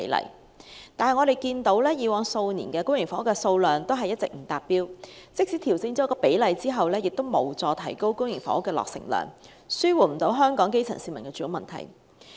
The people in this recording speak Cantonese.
然而，我們看到以往數年公營房屋的數量一直不達標，即使調整比例亦無助提高公營房屋的落成量，無法紓緩香港基層市民的住屋問題。